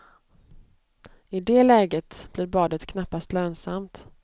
I det läget blir badet knappast lönsamt.